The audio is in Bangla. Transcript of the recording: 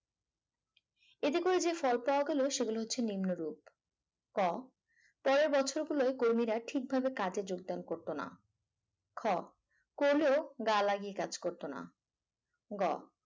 এতে করে যে ফল পাওয়া গেল সে গুলো হচ্ছে নিম্নরূপ ক পরের বছর গুলোয় কর্মীরা ঠিকভাবে কাজে যোগদান করত না খ কোন গা লাগিয়ে কাজ করতো না। গ